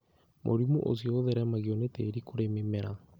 Mũrimũ ũcio ũtheremagio nĩ tĩĩri kũrĩ mĩmera